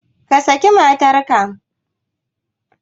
Ka saki matarka!